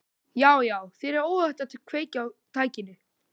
Já, já, þér er óhætt að kveikja á tækinu.